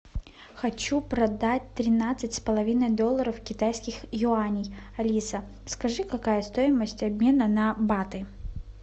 хочу продать тринадцать с половиной долларов китайских юаней алиса скажи какая стоимость обмена на баты